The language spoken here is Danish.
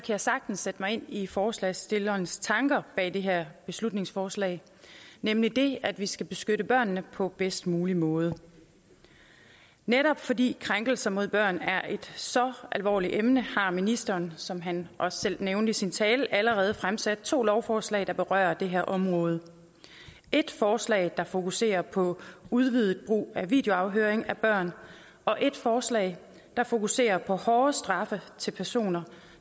jeg sagtens sætte mig ind i forslagsstillernes tanker bag det her beslutningsforslag nemlig at vi skal beskytte børnene på bedst mulig måde netop fordi krænkelser mod børn er et så alvorligt emne har ministeren som han også selv nævnte i sin tale allerede fremsat to lovforslag der berører det her område et forslag der fokuserer på udvidet brug af videoafhøring af børn og et forslag der fokuserer på hårdere straffe til personer